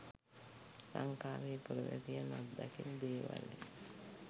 ලංකාවේ පුරවැසියන් අත්දකින දේවල්ය.